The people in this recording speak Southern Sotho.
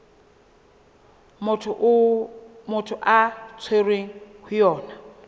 motho a tshwerweng ho yona